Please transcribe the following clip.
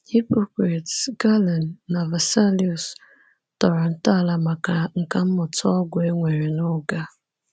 Hippocrates, Galen, na Vesalius tọrọ ntọala maka nkà mmụta ọgwụ e nwere n’oge a.